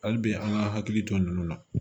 Hali bi an ka hakili to ninnu na